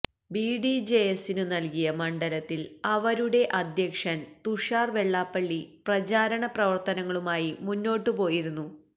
ബിഡിജെഎസിനു നല്കിയ മണ്ഡലത്തില് അവരുടെ അധ്യക്ഷന് തുഷാര് വെള്ളാപ്പള്ളി പ്രചാരണ പ്രവര്ത്തനങ്ങളുമായി മുന്നോട്ട് പോയിരുന്നു